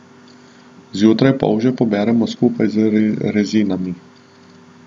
Zjutraj polže poberemo skupaj z rezinami.